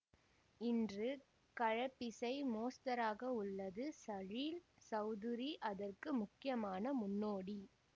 இன்று கலப்பிசை மோஸ்தராக உள்ளது சலீல் சௌதுரி அதற்கு முக்கியமான முன்னோடி